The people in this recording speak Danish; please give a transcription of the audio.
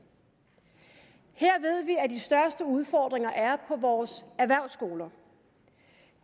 her ved vi at de største udfordringer er på vores erhvervsskoler